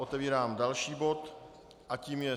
Otevírám další bod a tím je